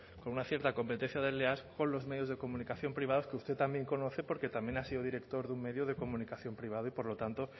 con una cierta competencia desleal con los medios de comunicación privados que usted también conoce porque también ha sido director de un medio de comunicación privado y por lo tanto